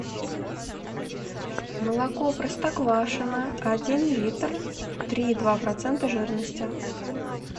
молоко простоквашино один литр три и два процента жирности